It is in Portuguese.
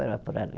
por ali.